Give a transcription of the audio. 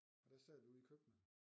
Og der sad vi ude i køkkenet